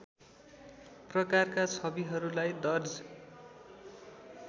प्रकारका छविहरूलाई दर्ज